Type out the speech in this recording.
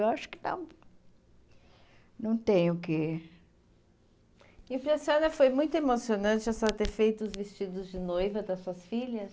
Eu acho que não não tem o que... E para a senhora foi muito emocionante a senhora ter feito os vestidos de noiva das suas filhas?